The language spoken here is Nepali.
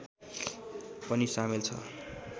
पनि सामेल छ